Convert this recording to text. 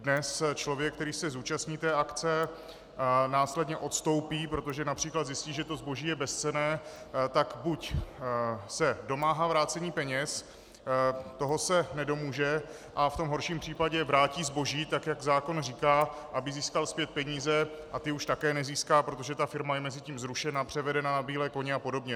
Dnes člověk, který se zúčastní té akce následně odstoupí, protože například zjistí, že to zboží je bezcenné, tak buď se domáhá vrácení peněz, toho se nedomůže, a v tom horším případě vrátí zboží tak, jak zákon říká, aby získal zpět peníze, a ty už také nezíská, protože ta firma je mezitím zrušena, převedena na bílé koně a podobně.